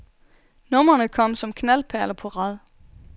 Numrene kom som knaldperler på rad.